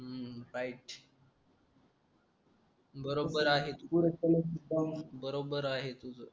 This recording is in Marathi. अं राईट बरोबर आहे तुझं बरोबर आहे तुझं